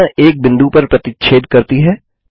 विकर्ण एक बिंदु पर प्रतिच्छेद करती है